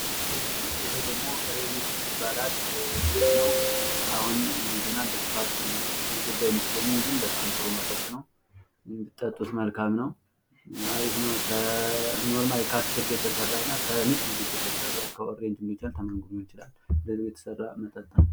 ይህ ደግሞ ሬኒ ጁስ ይባላል ጁስ ነው አሁን ገና በስፋት የገባ አይመስለኝም ግን በጣም ጥሩ መጠጥ ነው ብትጠጡት መልካም ነው እና አሪፍ ነው ። ኖርማሊ ከአትክልት የተሰራ እና ከንፁህ ጁስ የተሰራ ከኦሬንጅም ሊሆን ይችላል ከምንም ሊሆን ይችላል በንፁህ የተሰራ መጠጥ ነው ።